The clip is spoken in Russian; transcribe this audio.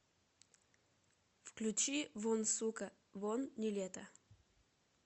включи вон сука вон нилетто